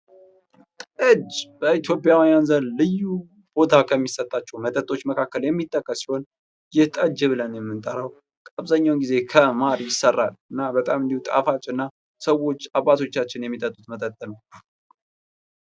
ጠጅ በኢትዮጵያውያን ዘንድ ልዩ ቦታ ከሚሰጣቸው መጠጦች መካከል የሚጠቀስ ሲሆን፤ ይህ ጠጅ ብለን የምንጠራው አብዛኛውን ጊዜ ከማር ይሰራል። እና በጣም እንዲሁ ጣፋጭና ሰዎች አባቶቻችን የሚጠጡት መጠጥ ነው።